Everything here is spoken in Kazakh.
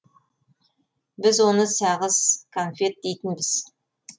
біз оны сағыз конфет дейтінбіз